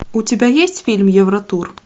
у тебя есть фильм евротур